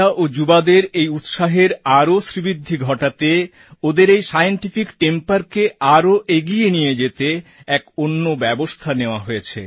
বাচ্চা ও যুবাদের এই উৎসাহের আরো শ্রীবৃদ্ধি ঘটাতে ওদের এই সায়েন্টিফিক temperকে আরও এগিয়ে নিয়ে যেতে এক অন্য ব্যবস্থা নেওয়া হয়েছে